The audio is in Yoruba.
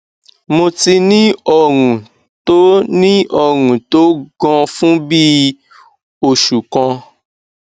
mo ti ní ọrùn tó ní ọrùn tó gan fún bí i oṣù kan